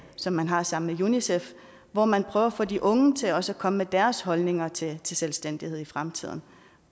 som man har sammen med unicef hvor man prøver på at få de unge til også at komme med deres holdninger til selvstændighed i fremtiden